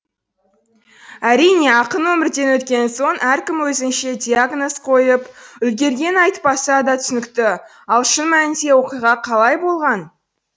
әрине ақын өмірден өткен соң әркім өзінше диагноз қойып үлгергені айтпаса да түсінікті ал шын мәнінде оқиға қалай болған